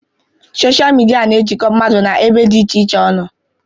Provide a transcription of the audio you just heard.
Sochịa midia na-ejikọ mmadụ nọ ebe dị iche iche ọnụ.